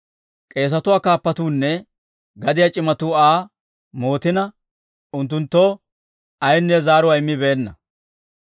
K'eesatuwaa kaappatuunne gadiyaa c'imatuu Aa mootina, unttunttoo ayinne zaaruwaa immibeenna.